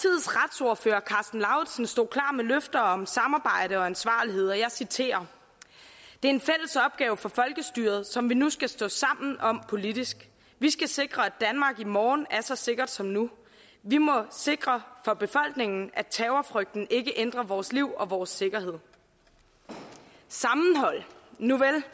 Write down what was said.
og karsten lauritzen stod klar med løfter om samarbejde og ansvarlighed og jeg citerer det er en fælles opgave for folkestyret som vi nu skal stå sammen om politisk vi skal sikre at danmark i morgen er så sikkert som nu vi må sikre for befolkningen at terrorfrygten ikke ændrer vores liv og vores sikkerhed sammenhold nuvel